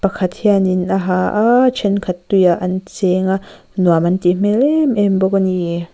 pakhat hianin a ha aaa thenkhat tui ah an chêng a nuam an tih hmel em em bawk a niii.